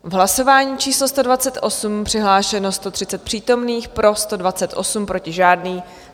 V hlasování číslo 128 přihlášeno 130 přítomných, pro 128, proti žádný.